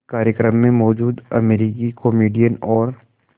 उसी कार्यक्रम में मौजूद अमरीकी कॉमेडियन और